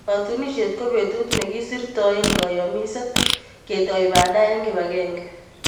Katunisyet ko betut ne kisirtoe kayamiset, ketoi banda eng kibagenge.